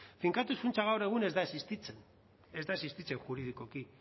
finkatuz funtsa gaur egun ez da existitzen ez da existitzen juridikoki